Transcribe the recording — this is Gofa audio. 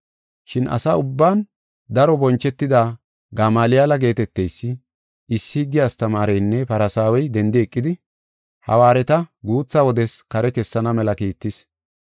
Shin asa ubban daro bonchetida Gamaaliyale geeteteysi, issi higge astamaareynne Farsaawey dendi eqidi hawaareta guutha wodes kare kessana mela kiittis.